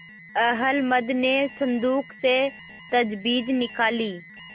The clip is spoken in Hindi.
अहलमद ने संदूक से तजबीज निकाली